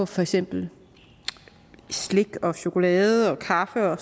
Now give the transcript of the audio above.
for eksempel slik chokolade og kaffe og